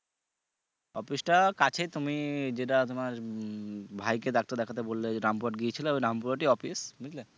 office টা কাছেই তুমি যেটা তোমার উম ভাইকে ডাক্তার দেখাতে বললে ওই যে রামপুর হাট গিয়েছিলা ওই রামপুরা হাটেই office বুঝলে